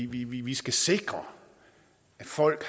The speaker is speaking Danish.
vi vi skal sikre at folk